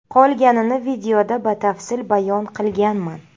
Qolganini videoda batafsil bayon qilganman.